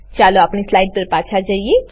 ચાલો આપણી સ્લાઈડ પર પાછા જઈએ